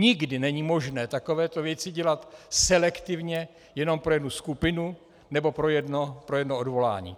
Nikdy není možné takovéto věci dělat selektivně jenom pro jednu skupinu nebo pro jedno odvolání.